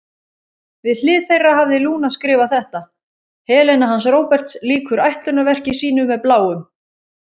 Við hlið þeirra hafði Lúna skrifað þetta: Helena hans Róberts lýkur ætlunarverki sínu með Bláum.